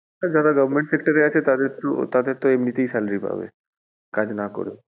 যারা government sector এ আছে তাদের তো আর তাঁরা এমনি তেই salary পাবে কাজ না করেও।